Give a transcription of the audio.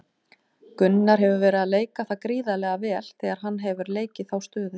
Gunnar hefur verið að leika það gríðarlega vel þegar hann hefur leikið þá stöðu.